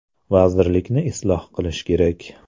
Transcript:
Vazirlikni isloh qilish kerak.